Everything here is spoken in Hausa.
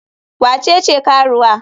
Wa ce ce karuwa?